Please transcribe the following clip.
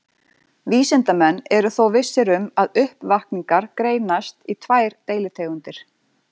Vísindamenn eru þó vissir um að uppvakningar greinast í tvær deilitegundir.